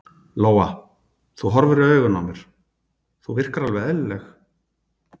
Lóa: Þú horfir í augun á mér, þú virkar alveg eðlileg?